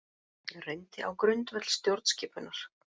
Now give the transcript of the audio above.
Reyndi á grundvöll stjórnskipunar